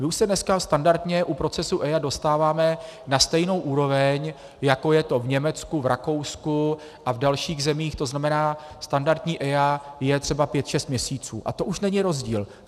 My už se dnes standardně u procesů EIA dostáváme na stejnou úroveň, jako je to v Německu, v Rakousku a v dalších zemích, to znamená standardní EIA je třeba pět šest měsíců a to už není rozdíl.